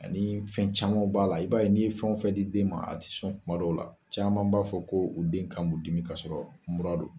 Ani fɛn caman b'a la i b'a ye n'i ye fɛn fɛn di den ma a tɛ sɔn kuma dɔw la caman b'a fɔ ko u den kan b'u dimi kasɔrɔ mura don